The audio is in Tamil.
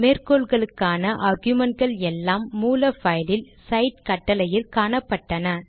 மேற்கோள்களுக்கான ஆர்குமென்ட் கள் எல்லாம் மூல பைலில் சைட் கட்டளை யில் காணப்பட்டன